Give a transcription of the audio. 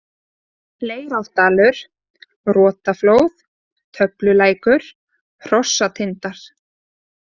Leirárdalur, Rotaflóð, Töflulækur, Hrossatindar